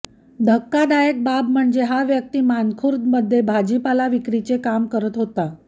धक्कादायक बाब म्हणजे हा व्यक्ती मानखुर्द मध्ये भाजीपाला विक्रीचे काम करत होता